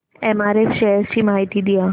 MRF shares ची माहिती द्या